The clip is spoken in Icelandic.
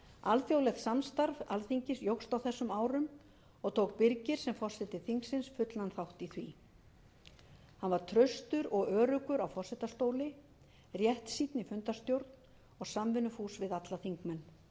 alþjóðlegt samstarf alþingis jókst á þessum árum og tók birgir sem forseti þingsins fullan þátt í því hann var traustur og öruggur á forsetastóli réttsýn í fundarstjórn og samvinnufús við alla þingmenn